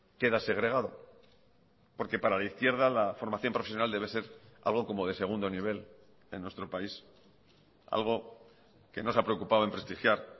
quedas segregado porque para la izquierda la formación profesional debe ser algo como de segundo nivel en nuestro país algo que no se ha preocupado en prestigiar